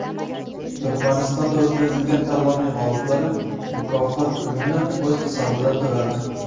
Turkmanistonda o‘tkazilgan tanlovning g‘oliblari mukofot pulini o‘z hisobidan to‘ladi.